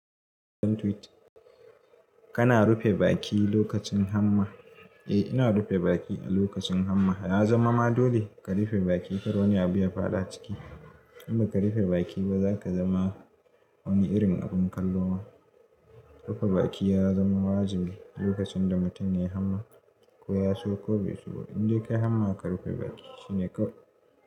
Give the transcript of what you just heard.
Kana rufe baki lokacin hamma. Eh ina rufe baki a lokacin hamma. Ya zama ma dole ka rufe baki kar wani abu ya fada ciki. In ba ka rufe baki ba za ka zama wani irin abin kallo ma. Rufe baki ya zama wajibi lokacin da mutum ya yi hamma, koya so ko bai so. In dai ka yi hamma ka rufe baki shine kau.